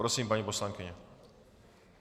Prosím, paní poslankyně.